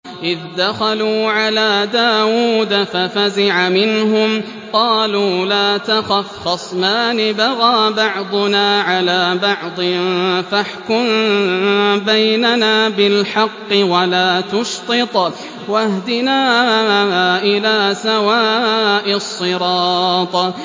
إِذْ دَخَلُوا عَلَىٰ دَاوُودَ فَفَزِعَ مِنْهُمْ ۖ قَالُوا لَا تَخَفْ ۖ خَصْمَانِ بَغَىٰ بَعْضُنَا عَلَىٰ بَعْضٍ فَاحْكُم بَيْنَنَا بِالْحَقِّ وَلَا تُشْطِطْ وَاهْدِنَا إِلَىٰ سَوَاءِ الصِّرَاطِ